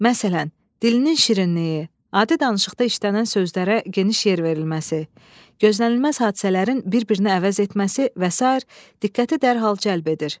Məsələn, dilinin şirinliyi, adi danışıqda işlənən sözlərə geniş yer verilməsi, gözlənilməz hadisələrin bir-birini əvəz etməsi və sair diqqəti dərhal cəlb edir.